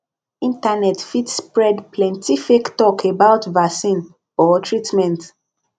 internet fit spread plenty fake talk about vaccine or treatment